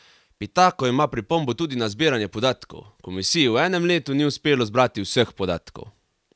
Pitako ima pripombo tudi na zbiranje podatkov: "Komisiji v enem letu ni uspelo zbrati vseh podatkov.